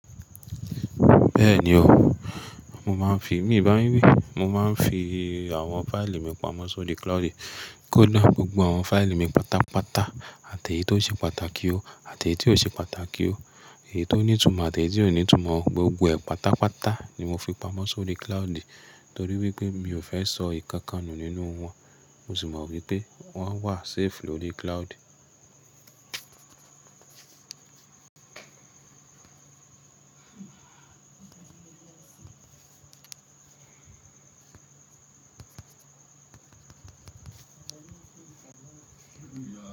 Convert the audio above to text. Bẹ́ẹ̀ni o, mo máa ń fi, mi bá yin wi, mo máa ń fi àwọn fáìlì mi pamọ́ sórí cloud. Kódà gbogbo àwọn fáìlì mi pàtàpàtà, àti èyí tó ṣe pàtàkì o àti èyí tí ò ṣe pàtàkì o, èyí tó ní ìtumọ̀ àti èyí tí ò ní ìtumọ̀, gbogbo ẹ̀ pàtàpàtà ni mo fi pamọ́ sórí cloud. Nítorí wípé mi ò fẹ́ sọ ìkankan nù nínú wọn. Mo sì mọ wípé wón wà safe lórí cloud.